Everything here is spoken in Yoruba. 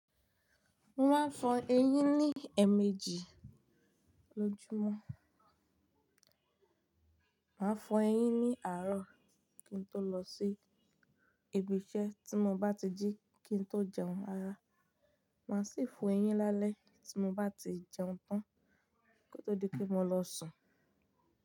Mo máa fọ eyín ní ẹ̀mejì lójúmọ́, màá fọ ẹyín ní àárọ̀ kí n tó lọ sí ibi iṣẹ́ tí mo bá ti jí kí n tó jẹun ara, màá sì fọ eyín lálẹ́ tí mo bá ti jẹun tán kó tó di pé mo lọ sùn.